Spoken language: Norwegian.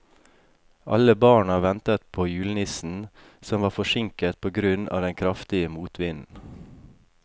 Alle barna ventet på julenissen, som var forsinket på grunn av den kraftige motvinden.